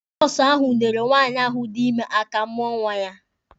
Nọọsụ ahụ nyeere nwaanyị ahụ dị ime mụọ nwa ya.